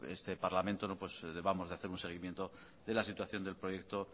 este parlamento debamos de hacer un seguimiento de la situación del proyecto